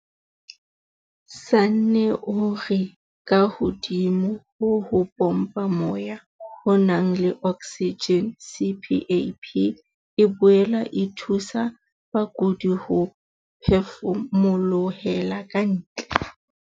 Sanne o re kahodimo ho ho pompa moya o nang le oksijene, CPAP e boela e thusa bakudi ho phefumolohela ka ntle.